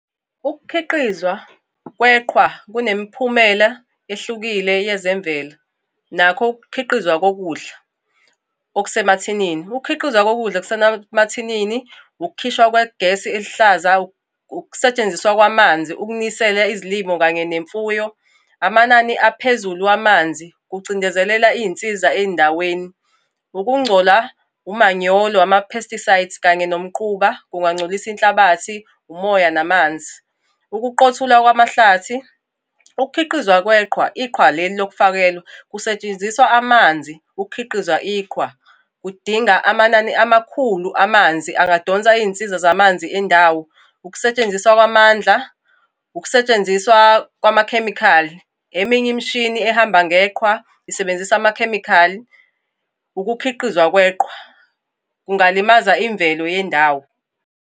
Ukukhiqizwa kweqhwa kunemiphumela ehlukile yezemvelo, nakho ukukhiqizwa kokudla okusemathinini. Ukukhiqizwa kokudla okusemathinini, ukukhishwa kwegesi eluhlaza, ukusetshenziswa kwamanzi ukunisela izilimo kanye nemfuyo, amanani aphezulu wamanzi kucindezeleka iy'nsiza ey'ndaweni. Ukungcola, umanyolo, ama-pesticides, kanye nomquba, kungangcolisa inhlabathi, umoya, namanzi. Ukuqothulwa kwamahlathi, ukukhiqizwa kweqhwa, iqhwa leli lokufakelwa, kusetshenziswa amanzi ukukhiqiza iqhwa. Kudinga amanani amakhulu amanzi angadonsa iy'nsiza zamanzi endawo, ukusetshenziswa kwamandla, ukusetshenziswa kwamakhemikhali. Eminye imishini ehamba ngeqhaza isebenzisa amakhemikhali. Ukukhiqizwa kweqhwa kungalimaza imvelo yendawo.